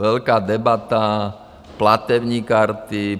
Velká debata - platební karty.